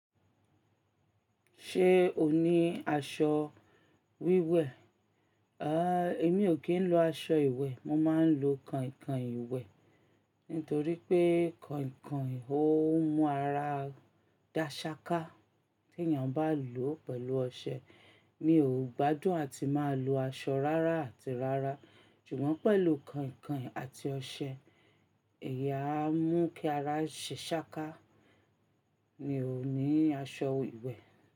Ṣé o ní aṣọ wíwẹ̀? Àh, èmi ò kí ń lo aṣọ ìwẹ̀, mo máa ń lo kànhin kànhin ìwẹ̀. Nítorí pé kànhin kànhin ò ń mú ara dá ṣááká tí èèyàn bá lò ó pẹ̀lú ọṣẹ. Mi ò gbádùn àti máa lo aṣọ rárá àti rárá. Ṣùgbọ́n pẹ̀lú kànhin kànhin àti ọṣẹ, ẹ̀yi a mú kí ara ṣe ṣááká. Mi ò ní aṣọ ìwẹ̀